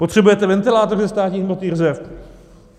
Potřebujete ventilátory ze státních hmotných rezerv?